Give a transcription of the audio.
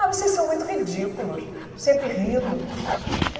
Ah, vocês são muito ridículos, sempre rindo.